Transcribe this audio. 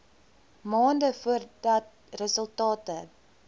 maande voordat resultate